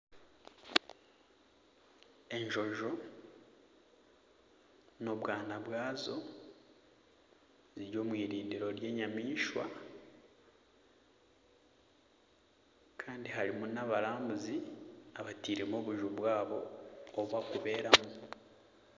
Enjojo n'obwaana bwazo ziri omu irindiro ry'enyamaishwa kandi harimu nabarambuzi abateiremu obuju bwabo obubari kubera mu.